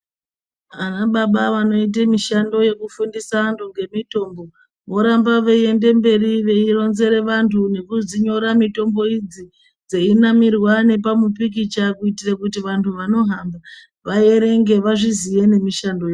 Anababa wanoite mishando yekufundisa antu ngemitombo, voramba veiende mberi veironzere vantu nekudzinyora mitombo idzi, dzeinamirwa nepamupikicha kuitire kuti vantu vanohamba vaerenge vazviziye nemishando yazvo.